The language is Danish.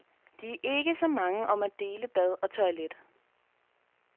De er ikke så mange om at dele bad og toilet.